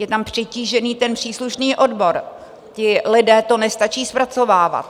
Je tam přetížený ten příslušný odbor, ti lidé to nestačí zpracovávat.